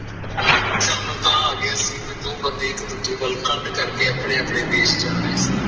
ਚੈਨ ਉਤਾ ਆ ਗਯਾ ਸੀ ਤੇ ਦੋ ਬੰਦੇ ਇਕ ਦੂਜੇ ਵੱਲ ਕੰਧ ਕਰਕੇ ਆਪਣੇਂ ਆਪਣੇ ਦੇਸ਼ ਜਾ ਰਹੇ ਸਨ